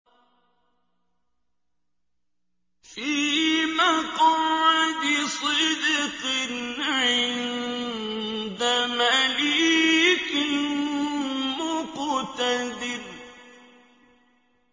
فِي مَقْعَدِ صِدْقٍ عِندَ مَلِيكٍ مُّقْتَدِرٍ